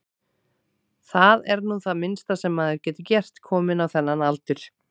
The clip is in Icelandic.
Það er nú það minnsta sem maður getur gert, kominn á þennan aldur.